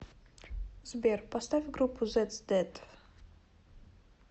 сбер поставь группу зедс дэд